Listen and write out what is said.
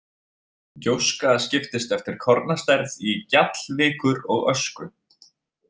Gjóska skiptist eftir kornastærð í gjall, vikur og ösku.